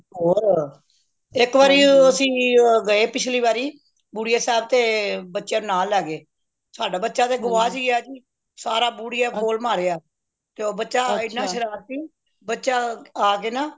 ਹੋਰ ਇੱਕ ਵਾਰੀ ਅੱਸੀ ਗਏ ਪਿਛਲੀ ਵਾਰੀ ਬੁੜੀਏ ਸਾਹਿਬ ਤੇ ਬੱਚਿਆਂ ਨੂੰ ਨਾਲ ਲੈ ਗਏ ਸਦਾ ਬਚਾ ਤੇ ਗੁਆਚ ਹੀ ਗਯਾ ਜੀ ਸਾਰਾ ਬੁੜੀਆਂ ਫੋਲ ਮਾਰਿਆ ਤੇ ਉਹ ਬੱਚਾ ਇਹਨਾਂ ਸ਼ਰਾਰਤੀ ਬੱਚਾ ਆਕੇ ਨਾ